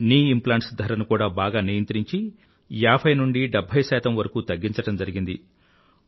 knee implants ధరను కూడా బాగా నియంత్రించి 50 నుండీ 70 వరకూ తగ్గించడం జరిగింది